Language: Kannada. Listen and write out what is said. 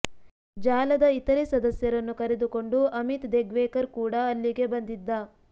ಜಾಲದ ಇತರೆ ಸದಸ್ಯರನ್ನು ಕರೆದುಕೊಂಡು ಅಮಿತ್ ದೆಗ್ವೇಕರ್ ಕೂಡ ಅಲ್ಲಿಗೆ ಬಂದಿದ್ದ